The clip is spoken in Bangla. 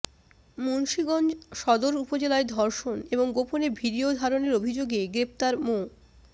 মুন্সীগঞ্জ সদর উপজেলায় ধর্ষণ এবং গোপনে ভিডিও ধারণের অভিযোগে গ্রেপ্তার মো